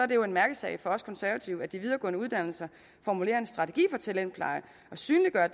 det jo en mærkesag for os konservative at de videregående uddannelser formulerer en strategi for talentpleje og synliggør